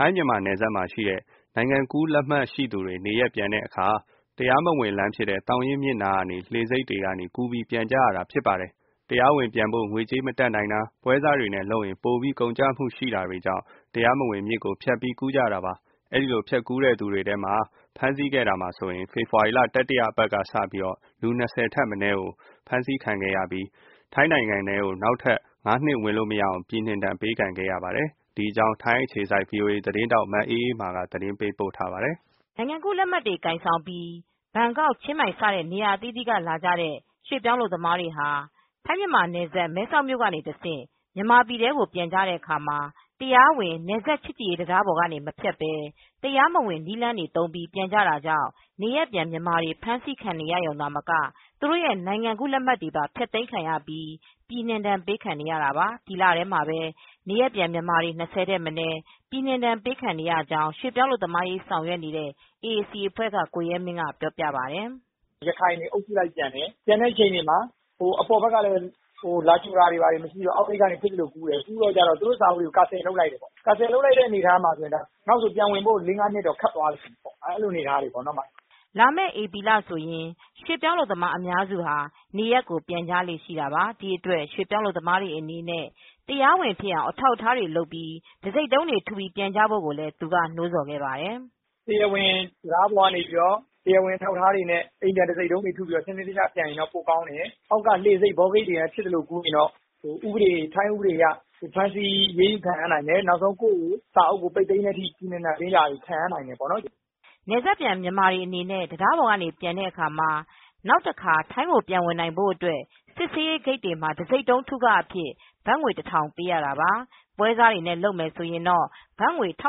ိုင်းမြန်မာနယ်စပ်မှာ နိုင်ငံကူးလက်မှတ်ရှိသူတွေနေရပ်ပြန်တဲ့အခါမှာ တရားမဝင်လမ်းဖြစ်တဲ့ သောင်ရင်းမြစ်နားက လှေဆိပ်တွေကနေ ပြန်ကြတာကြောင့် ဖေဖေါ်ဝါရီလ တတိယပတ်အထိ လူ၂၀ထက်မနည်းကို ထိုင်းအာဏာပိုင်တွေက ဖမ်းဆီးပြီး ထိုင်းနိုင်ငံထဲကိုနောက်ထပ် ၅နှစ်ဝင်လို့ မရအောင်ပြည်နှင်ဒဏ်ပေးခဲ့ပါတယ်။ VOA ထိုင်းအခြေစိုက်သတင်းထောက် မအေးအေးမာက သတင်းပေးပို့ထားပါတယ်။ နိုင်ငံကူးလက်မှတ်တွေကိုင်ဆောင်ပြီး ဘန်ကောက်-ချင်းမိုင် စတဲ့ နေရာအသီးသီးကလာကြတဲ့ ရွေ့ပြောင်းအလုပ်သမား တွေဟာ ထိုင်းမြန်မာနယ်စပ် မဲဆောက်မြို့ကနေ တဆင့် မြန်မာပြည်ကို ပြန်ကြတဲ့ အခါမှာ တရားဝင် နယ်စပ်ချစ်ကြည်ရေးတံတားပေါ်ကနေ မဖြတ်ပဲ တရားမဝင်လမ်းတွေကို သုံးပြီး ပြန်ကြကြောင့် နေရပ်ပြန်မြန်မာတွေ ဖမ်းဆီးခံရရုံသာမက သူတိုရဲ ့နိုင်ငံကူးလက်မှတ်တွေပါ ဖျက်သိမ်းခံရပြီး ပြည်နှင်ဒဏ်ပေးခံနေ၇တာပါ။ ဒီလထဲမှာပဲ နေရပ်ပြန်မြန်မာတွေ ၂၀ထက်မနည်း ပြည်နှင်ဒဏ်ပေးခံရကြောင်း ရွှေ့ပြောင်းအလုပ်သမားရေး လုပ်ဆောင်နေတဲ့ အေအေစီအဖွဲ့က ကိုရဲမင်းက ပြောပြပါတယ်။ "ရခိုင်တွေအုပ်စုလိုက်ပြန်တယ် ပြန်တဲ့အခြေအနေမှာအပေါ်ဘက်ကနေ လာကြိုတာလည်းမရှိတော့ အောက်ဂိတ်ကနေ ဖြစ်သလိုကူးနေတော့ ထိုင်းဘက်က သူတိုစာအုပ်တွေကို CANCEL လုပ်လိုက်တယ် နောက်ဆိုပြန်ဝင်ဖို့အတွက် လေး ငါးနှစ်ကတော့ခက်သွားပြီပေါ့ " လာမယ့် ဧပြီလဆိုရင် ရွှေ့ပြောင်းအလုပ်သမားအများစု ဟာနေရပ်ကိုပြန်ကြလေ့ ရှိတာပါ ။ ဒီအတွက်ရွှေပြောင်းအလုပ်သမားတွေအနေနဲ့ တရားဝင်ဖြစ်အောင်အထောက်အထားတွေ လုပ် တံဆိပ်တုံးတွေ ထုပြီးပြန်ကြဖို့ကိုလည်းသူကနိုးဆော်ခဲ့ပါတယ်။ "တရားဝင် တံတားပေါ်ကနေ တရားဝင်အထောက်အထားတွေနဲ့ တရားဝင်တံဆိပ်တုံးတွေထုပြီး ပြန်ရင်တော့ကောင်းတယ် အောက်က လှေဆိပ်ကနေ ဖြစ်သလိုကူးရင်တော့ ထိုင်းဥပဒေအရ အရေးယူဖမ်းဆီးခံရနိုင်တယ်။ နောက်ဆို ပြည်နှင်ဒဏ်ပေးတာတွေပါခံရနိုင်တာပေါ့" နယ်စပ်ပြန်မြန်မာတွေ အနေနဲ့ တံတားပေါ်က ပြန်တဲ့အခါမှာ နောက်ထပ်တခါ ထိုင်းကိုပြန်ဝင်နိုင်ဖို့ အတွက် စစ်ဆေရေးဂိတ်တွေမှာ တဆိပ်တုံးထုခအဖြစ် ဘတ်ငွေတထောင်ပေး၇တာပါ ပွဲစားတွေနဲ့ လုပ်မယ်ဆိုရင်တော့ဘတ်ငွေ ၁၆၀၀ လေ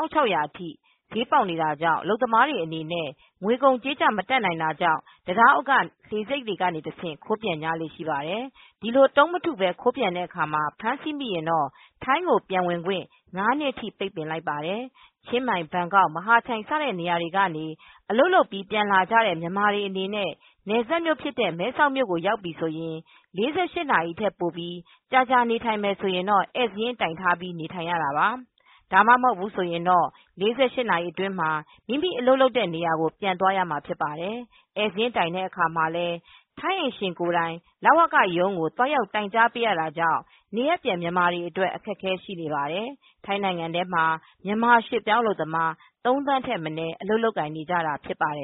ာက်ထိဈေးပေါက်တာကြောင့် အလုပ်သမားတွေအနေနဲ့ ငွေကုန်ကြေးကျမတတ်နိုင်တာကြောင့် တံတားအောက်က လှေဆိပ်တွေကနေ တဆင့်ခိုးပြန်ကြလေ့ရှိပါတယ်။ ဒီလိုတုံး မထုပဲခိုးပြန်တာကို ဖမ်းဆီးမိရင်တော့ ထိုင်းကိုပြန်ဝင်ခွင့် ၅နှစ်ထိ ပိတ်ပင်လိုက်ပါတယ်။ ချင်းမိုင်-ဘန်ကောက်-မဟာချိုင်စတဲ့နေရာတွေက အလုပ်လုပ်ပြိးပြန်လာကြတဲ့မြန်မာတွေအနေနဲ့ နယ်စပ်မြို့ဖြစ်တဲ့ မဲဆောက်မြို့ကိုရောက်ပြီဆိုရင် ၄၈နာရီထက်ပိုပြီး ကြာကြာနေထိုင်မယ်ဆိုရင် ဧည့်စာရင်းတိုင်ထားပြီး နေထိုင်ရတာပါ။ ဒါမှာမဟုတ်ရင်တော့ ၄၈နာရီအတွင်းမှာ မိမိအလုပ်လုပ်တဲ့နေရာကို ပြန်သွားရမှာဖြစ်ပါတယ်။ ဧည့်စာရင်းတိုင်တဲ့ အခါမှာလည်း ထိုင်းအိမ်ရှင်ကိုယ်တိုင် လဝကရုံးကို သွားရောက်တိုင်ကြားပေးရတာကြောင့် နေရပ်ပြန်မြန်မာတွေ အတွက်ကတော့ အခက်အခဲရှိနေပါတယ်။ ထိုင်းနိုင်ငံထဲမှာ မြန်မာရွှေ့ပြောင်းအလုပ်သမား ၃သန်းထက်မနည်း အလုပ်လုပ်ကိုင်နေကြတာ ဖြစ်ပါတယ်